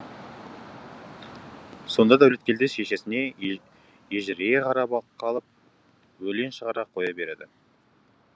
сонда дәулеткелді шешесіне ежірейе қарап қалып өлең шығара қоя береді